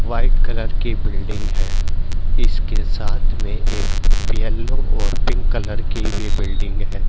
White colour की building है इसके साथ में एक येलो और पिंक कलर की भी बिल्डिंग है।